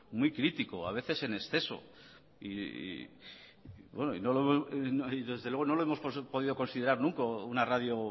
muy crítico a veces en exceso y desde luego no lo hemos podido considerar nunca una radio